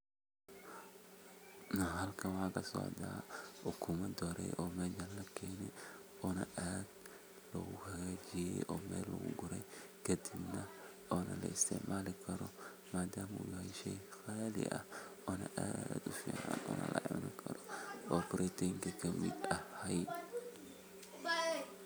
Halkan waxa kasocda ukumo dorey oo halkan lugugure oo aad lohagajiye kadibna ona laisticmali karo madama uu yhay shey qali aah ona brotinka kamid tahay.